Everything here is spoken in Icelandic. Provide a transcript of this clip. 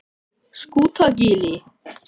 Skútagili